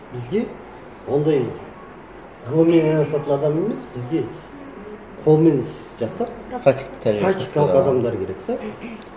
бізге ондай ғылыммен айналысатын адам емес бізге қолмен іс жасап практикалық адамдар керек те